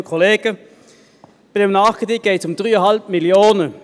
Bei diesem Nachkredit geht es um 3,5 Mio. Franken.